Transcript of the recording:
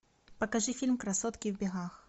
покажи фильм красотки в бегах